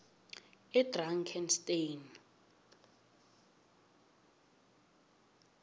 edrakansteni